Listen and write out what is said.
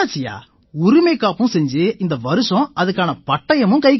உரிமைக்காப்பும் செஞ்சு இந்த வருஷம் அதுக்கான பட்டயமும் கைக்கு வந்தாச்சு